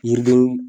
Yiriden